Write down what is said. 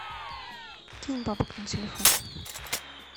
кинь бабок на телефон